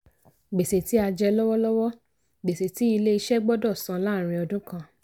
gbèsè tí a jẹ lọ́wọ́lọ́wọ́: gbèsè tí ilé iṣẹ́ gbọ́dọ̀ san láàrín ọdún kan.